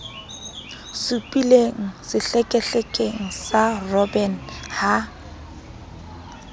supileng sehlekehlekeng sa robben ha